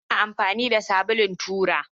Ina amfani da sabulun tura